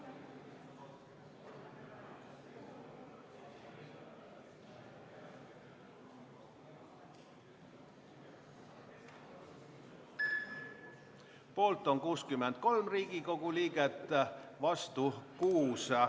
Hääletustulemused Poolt on 63 Riigikogu liiget, vastu 6.